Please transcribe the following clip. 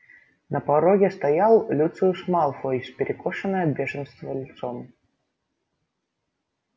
на пороге стоял люциус малфой с перекошенным от бешенства лицом